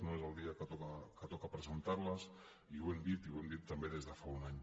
no és el dia que toca presentar les i ho hem dit i ho hem dit també des de fa un any